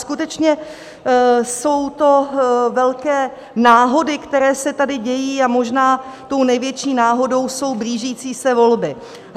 Skutečně jsou to velké náhody, které se tady dějí, a možná tou největší náhodou jsou blížící se volby.